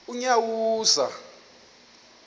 unyawuza